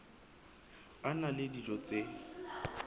a na le dijo tse